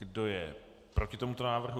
Kdo je proti tomuto návrhu?